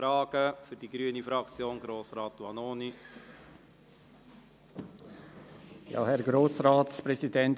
Für die grüne Fraktion hat Grossrat Vanoni das Wort.